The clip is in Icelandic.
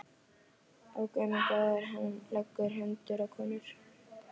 En það er kannski bara letilíf miðað við þig, ha?!